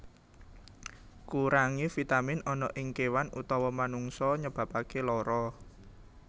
Kurangé vitamin ana ing kéwan utawa manungsa nyebabaké lara